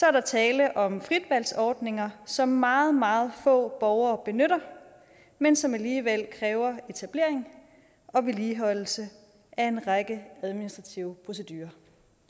er der tale om fritvalgsordninger som meget meget få borgere benytter men som alligevel kræver etablering og vedligeholdelse af en række administrative procedurer